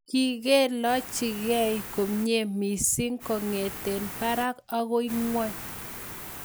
Kikelachkei komnyei missing kongete parak akoi ngony